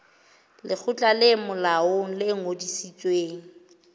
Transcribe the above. lekgotla le molaong le ngodisitsweng